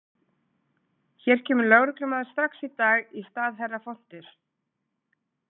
Hér kemur lögreglumaður strax í dag í stað herra Fontins.